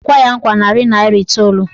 Ọ ga-ekwe ya nkwa narị naịra iteolu.